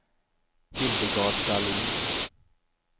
Hildegard Dahlin